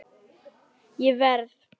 Ég verð!